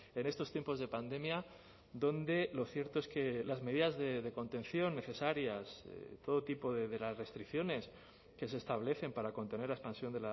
en estos tiempos de pandemia donde lo cierto es que las medidas de contención necesarias todo tipo de las restricciones que se establecen para contener la expansión